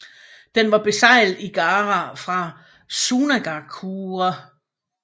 Den var beseglet i Gaara fra Sunagakure